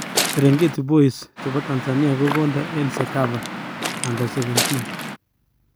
Serengeti boys chepo Tanzania kokondooo eng cecafa u17